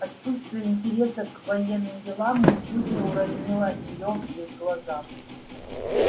отсутствие интереса к военным делам ничуть не уронило её в их глазах